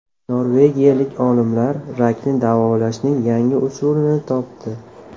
Norvegiyalik olimlar rakni davolashning yangi usulini topdi.